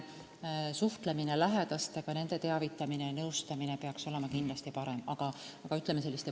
Suhtlemine lähedastega, nende teavitamine ja nõustamine peaks kindlasti olema parem.